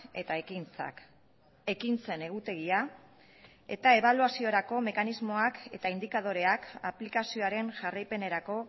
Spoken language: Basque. eta ekintzak ekintzen egutegia eta ebaluaziorako mekanismoak eta indikadoreak aplikazioaren jarraipenerako